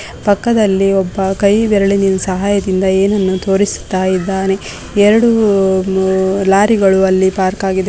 ಪಕ್ಕದಲ್ಲಿ ಒಬ್ಬ ಕೈ ಬೆರಳಿನ ಸಹಾಯದಿಂದ ಏನ್ನನ್ನು ತೋರಿಸುತ್ತ ಇದ್ದಾನೆ ಎರಡು ಲಾರಿ ಗಳು ಅಲ್ಲಿ ಪಾರ್ಕಾಗಿದೆ .